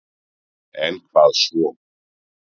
En hvað svo